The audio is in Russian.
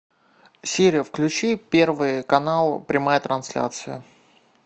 сири включи первый канал прямая трансляция